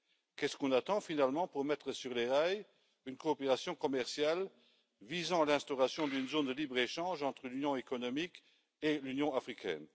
Qu'est ce qu'on attend finalement pour mettre sur les rails une coopération commerciale visant l'instauration d'une zone de libre échange entre l'Union économique et l'Union africaine?